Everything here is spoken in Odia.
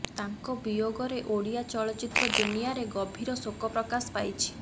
ତାଙ୍କ ବିୟୋଗରେ ଓଡ଼ିଆ ଚଳଚ୍ଚିତ୍ର ଦୁନିଆରେ ଗଭୀର ଶୋକ ପ୍ରକାଶ ପାଇଛି